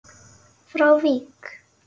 frá Vík.